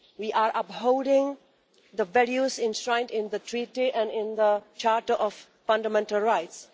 We are upholding the values enshrined in the Treaty and in the Charter of Fundamental Rights.